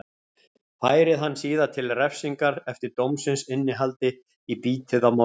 Færið hann síðan til refsingar eftir dómsins innihaldi í bítið á morgun.